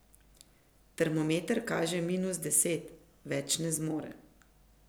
Termometer kaže minus deset, več ne zmore.